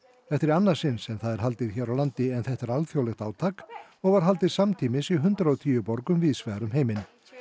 þetta er í annað sinn sem það er haldið hér á landi en þetta er alþjóðlegt átak og var haldið samtímis í hundrað og tíu borgum víðs vegar um heiminn